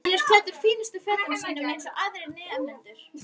Hann er klæddur fínustu fötunum sínum eins og aðrir nemendur.